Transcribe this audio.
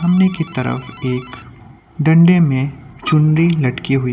सामने की तरफ एक डंडे में चुन्नी लटकी हुई है।